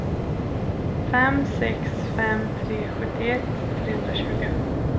fem sex fem tre sjuttioett trehundratjugo